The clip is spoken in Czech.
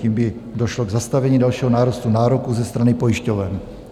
Tím by došlo k zastavení dalšího nárůstu nároků ze strany pojišťoven.